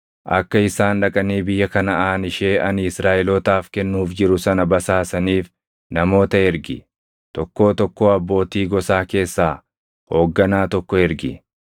“Akka isaan dhaqanii biyya Kanaʼaan ishee ani Israaʼelootaaf kennuuf jiru sana basaasaniif namoota ergi. Tokkoo tokkoo abbootii gosaa keessaa hoogganaa tokko ergi.”